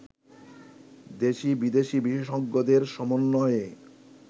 দেশি-বিদেশি বিশেষজ্ঞদের সমন্বয়ে